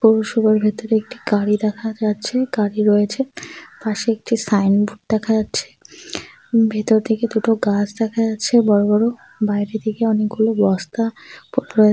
পৌরসভার ভেতরে একটি গাড়ি দেখা যাচ্ছে। গাড়ি রয়েছে পাশে একটি সাইনবোর্ড দেখা যাচ্ছে । ভেতর থেকে দুটো গাছ দেখা যাচ্ছে বড় বড় বাইরে থেকে অনেকগুলো বস্তা --